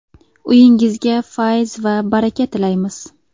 Uyingizga fayz va baraka tilaymiz.